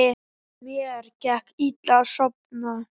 Mér gekk illa að sofna.